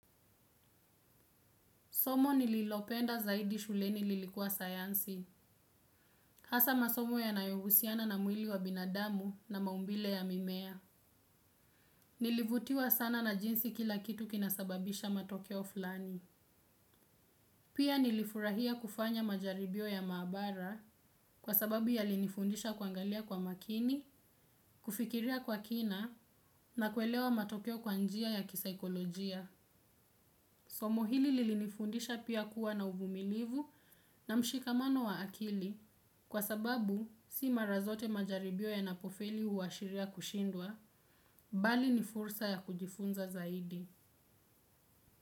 Somo nililopenda zaidi shuleni lilikuwa sayansi, hasa masomo yanayohusiana na mwili wa binadamu na maumbile ya mimea. Nilivutiwa sana na jinsi kila kitu kinasababisha matokeo fulani. Pia nilifurahia kufanya majaribio ya maabara kwa sababu yalinifundisha kuangalia kwa makini, kufikiria kwa kina na kuelewa matokeo kwa njia ya kisaikolojia. Somo hili lilinifundisha pia kuwa na uvumilivu na mshikamano wa akili, kwa sababu si mara zote majaribio yanapofeli huashiria kushindwa, bali ni fursa ya kujifunza zaidi.